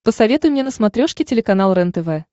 посоветуй мне на смотрешке телеканал рентв